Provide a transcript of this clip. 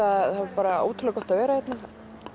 ótrúlega gott að vera hérna